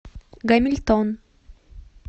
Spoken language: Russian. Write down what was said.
гамильтон